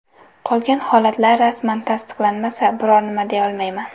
Qolgan holatlar rasman tasdiqlanmasa, biror nima deyolmayman.